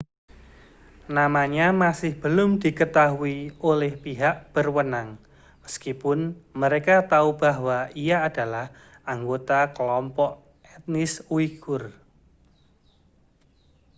namanya masih belum diketahui oleh pihak berwenang meskipun mereka tahu bahwa ia adalah anggota kelompok etnis uighur